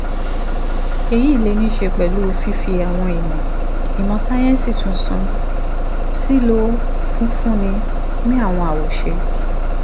èyí lè ní í ṣe pẹ̀lú fífi àwọn ìmọ̀ ìmọ̀ sáyẹ́ǹsì tuntun sílò fífúnni ní àwọn awoṣe